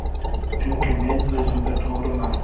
Chunki men o‘zimga to‘g‘riman.